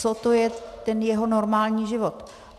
Co to je ten jeho normální život?